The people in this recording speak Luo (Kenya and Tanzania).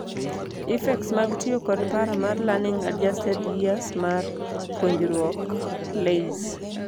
Effects mag tiyo kod paro mar Learning Adjusted Years mar puonruok (LAYS).